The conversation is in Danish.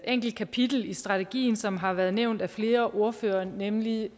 enkelt kapitel i strategien som har været nævnt af flere ordførere nemlig